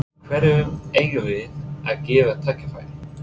Hverjum eigum við að gefa tækifæri?